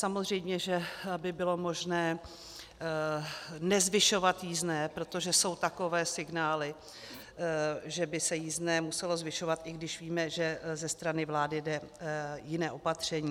Samozřejmě že by bylo možné nezvyšovat jízdné, protože jsou takové signály, že by se jízdné muselo zvyšovat, i když víme, že ze strany vlády jde jiné opatření.